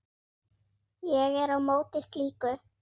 Ég er á móti slíku.